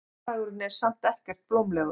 Fjárhagurinn er samt ekkert blómlegur.